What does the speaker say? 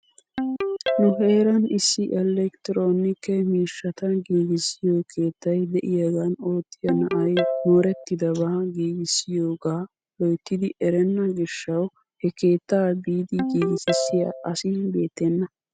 Nu heeran issi elektroonike miishshata giigissiyoo keettay de'iyaagan oottiyaa na'ay moorettidabba giigissiyoogaa loyttidi erenna gishshaw he keettaa biidi giigississiyaa asi beettenna.